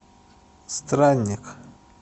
странник